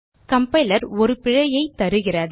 compiler ஒரு பிழையைத் தருகிறது